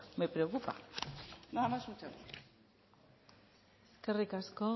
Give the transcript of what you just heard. me preocupa nada más muchas gracias eskerrik asko